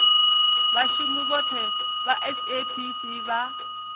vhashumi vhothe vha saps vha